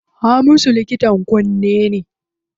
Hamisu likitan kunne ne.